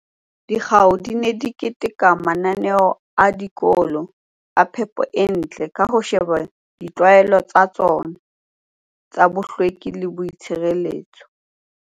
Dikgao di ne di keteka mananeo a dikolo a phepo e ntle ka ho sheba ditlwaelo tsa tsona tsa bohlweki le boitshire